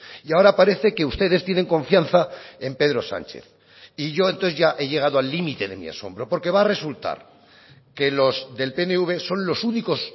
y ahora parece que ustedes tienen confianza en pedro sánchez y yo entonces ya he llegado al límite de mi asombro porque va a resultar que los del pnv son los únicos